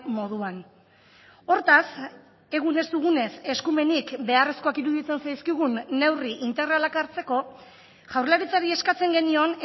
moduan hortaz egun ez dugunez eskumenik beharrezkoak iruditzen zaizkigun neurri integralak hartzeko jaurlaritzari eskatzen genion